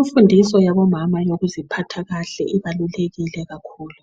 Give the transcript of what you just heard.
Umfundiso yabomama yokuziphatha kahle ibalulekile kakhulu.